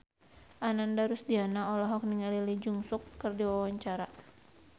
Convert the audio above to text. Ananda Rusdiana olohok ningali Lee Jeong Suk keur diwawancara